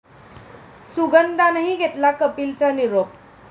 सुगंधानंही घेतला कपिलचा निरोप